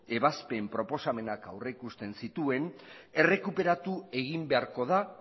ebazpen proposamenak aurreikusten zituen errekuperatu egin beharko da